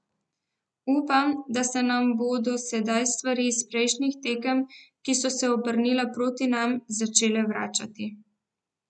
Upam, da se nam bodo sedaj stvari iz prejšnjih tekem, ki so se obrnile proti nam, začele vračati.